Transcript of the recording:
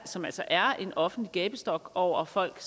som altså er en offentlig gabestok over folk